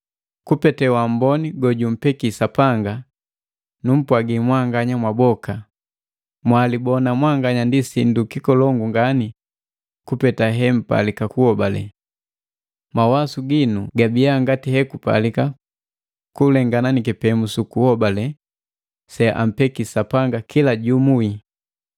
Kupete waamboni gojumbeki Sapanga, numpwagi mwanganya mwaboka, mwalibona mwanganya ndi sindu kikolongu ngani kupeta hempalika kuholale. Mawasu ginu gabia ngati hekupalika kulengana ni kipemu suku hobale se ampeki Sapanga kila jumu wii.